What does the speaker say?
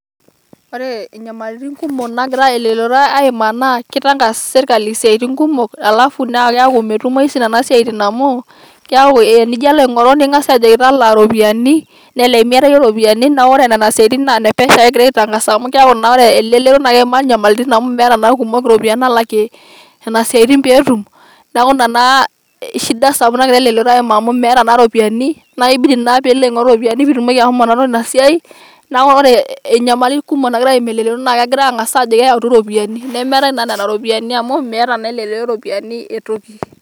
Ore inyalitin kumok naagira elelero aimaa naa keutangas sirkali isiatin kumok alafuu na keeku naa metumoyu Nena siatin amu keeku tenijo alo aing'oru nikijokini tang'asa talaa iropiyiani nelelek emiata iyie iropiyiani naa ore Nena siatin naa enepesho ake egirae aitangasa amu keeku naa ore elelero naa keimaa enyamalitin amu meeta naa erkumok iropiyiani naalakie Nena siatin pee etum neeku Ina naa shida sapuk nagira elelero aimaa amu meeta naa iropiyiani naaglkibidi naa peilo aing'oru iropiyiani piitumoki ashomo aing'oru Ina siai neeku ore inyamali kumok nagira elelero aimaa naa kegirae aang'as aajoki eyautu iropiyiani nemeetae naa Nena ropiyiani amu meeta naa Elelero iropiyiani etoki.